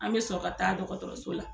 An bɛ sɔrɔ ka taa dɔgɔtɔrɔso la.